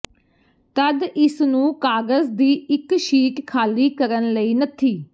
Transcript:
ਤਦ ਇਸ ਨੂੰ ਕਾਗਜ਼ ਦੀ ਇੱਕ ਸ਼ੀਟ ਖਾਲੀ ਕਰਨ ਲਈ ਨੱਥੀ